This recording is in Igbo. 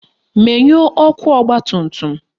Menyuo ọkụ ọgbatumtum!